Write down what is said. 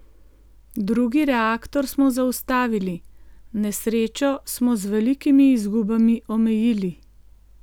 Drugi reaktor smo zaustavili, nesrečo smo z velikimi izgubami omejili.